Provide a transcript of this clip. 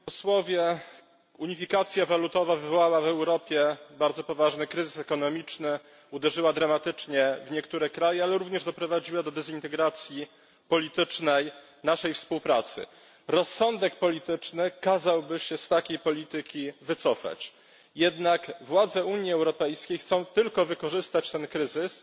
Panie Przewodniczący! Unifikacja walutowa wywołała w Europie bardzo poważny kryzys ekonomiczny. Uderzyła dramatycznie w niektóre kraje, ale również doprowadziła do politycznej dezintegracji naszej współpracy. Rozsądek polityczny kazałby się z takiej polityki wycofać, jednak władze Unii Europejskiej chcą tylko wykorzystać ten kryzys